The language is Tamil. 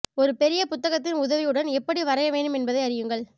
ஒரு பெரிய புத்தகத்தின் உதவியுடன் எப்படி வரைய வேண்டும் என்பதை அறியுங்கள்